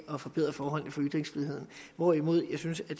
at forbedre forholdene for ytringsfriheden hvorimod jeg synes at